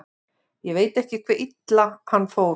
Ég veit ekki hve illa hann fór.